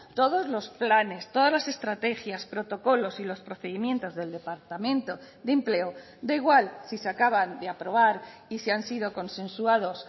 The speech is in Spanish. todos los planes todas las estrategias protocolos y los procedimientos del departamento de empleo da igual si se acaban de aprobar y si han sido consensuados